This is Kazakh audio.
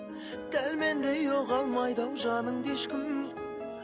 дәл мендей ұға алмайды ау жаныңды ешкім